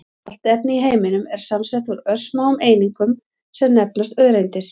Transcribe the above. Allt efni í heiminum er samsett úr örsmáum einingum sem nefnast öreindir.